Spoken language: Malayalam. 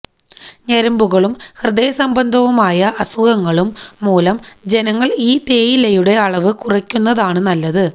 ഞരമ്പുകളും ഹൃദയ സംബന്ധമായ അസുഖങ്ങളും മൂലം ജനങ്ങൾ ഈ തേയിലയുടെ അളവ് കുറയ്ക്കുന്നതാണ് നല്ലത്